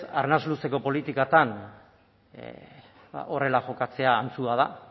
arnas luzeko politikatan horrela jokatzea antzua da